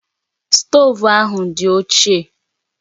Stoovu ahụ dị ochie